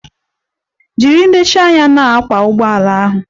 Jiri nlezianya na-akwọ ụgbọala ahụ!